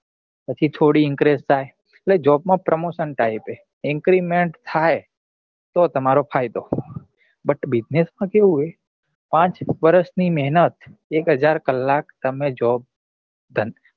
પછી થોડી increase થાય એટલે job માં promotion type હે increment તો તમારો ફાયદો butbussiness માં કેવું હે પાંચ વર્ષ ની મહેનત એક હજાર કલાક તમે job